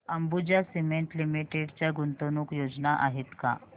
Ambuja cement limited च्या गुंतवणूक योजना आहेत का